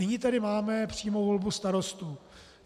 Nyní tady máme přímou volbu starostů.